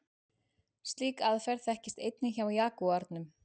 Slík aðferð þekkist einnig hjá jagúarnum.